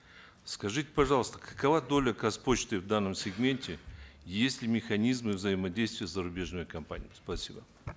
скажите пожалуйста какова доля казпочты в данном сегменте есть ли механизмы взаимодействия с зарубежными компаниями спасибо